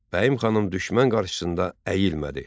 Bəyim xanım düşmən qarşısında əyilmədi.